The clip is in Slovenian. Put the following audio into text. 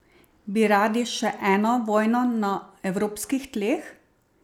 Bi radi še eno vojno na evropskih tleh?